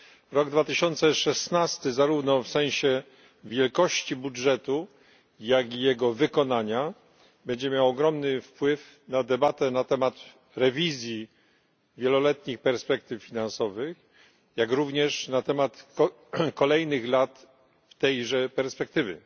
Rok 2016, zarówno w sensie wielkości budżetu, jak i jego wykonania, będzie miał ogromny wpływ na debatę na temat przeglądu wieloletnich perspektyw finansowych, jak również na temat kolejnych lat tejże perspektywy.